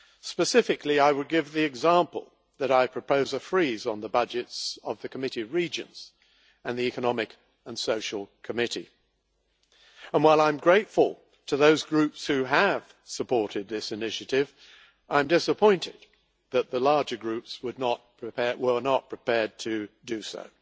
Specifically, I would give the example that I propose a freeze on the budgets of the Committee of Regions and the Economic and Social Committee, and while I am grateful to those groups who have supported this initiative, I am disappointed that the larger groups were not prepared to do so.